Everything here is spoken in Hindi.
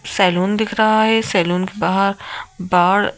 सैलून दिख रहा है सैलून के बाहर बाड़--